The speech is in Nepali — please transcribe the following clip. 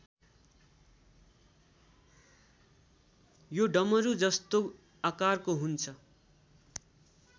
यो डमरूजस्तो आकारको हुन्छ